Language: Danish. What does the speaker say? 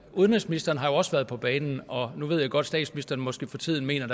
udenrigsministeren har jo også været på banen og nu ved jeg godt at statsministeren måske for tiden mener